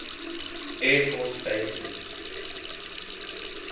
air force bases